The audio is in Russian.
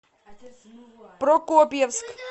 прокопьевск